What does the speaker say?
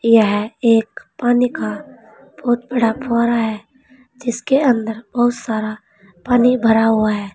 यह एक पानी का बहुत बड़ा फवारा है जिसके अंदर बहुत सारा पानी भरा हुआ है।